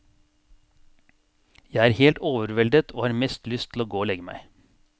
Jeg er helt overveldet og har mest lyst til å gå og legge meg.